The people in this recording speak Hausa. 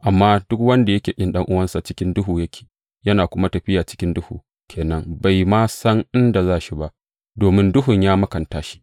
Amma duk wanda yake ƙin ɗan’uwansa, cikin duhu yake, yana kuma tafiya cikin duhu ke nan; bai ma san inda za shi ba, domin duhun ya makanta shi.